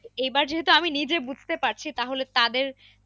এবার যেহেতু আমি নিজে বুঝতে পারছি তাহলে তাদের।